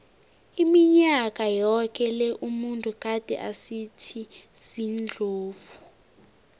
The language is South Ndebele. iminyaka yoke le umuntu gade asisitha sendlovu